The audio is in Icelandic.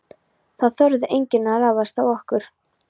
Það þorði enginn að ráðast á okkur.